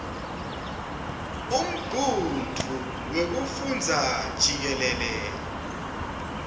umgudvu wekufundza jikelele